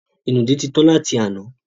Ìnùdí ti tan láti àná.